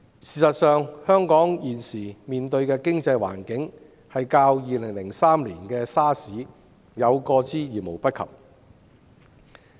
事實上，香港現時經濟環境的嚴峻，較2003年 SARS 爆發期間有過之而無不及。